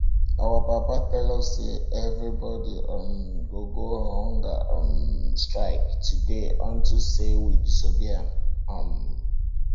our papa tell us say everybody um go go on hunger um strike today unto say we disobey am um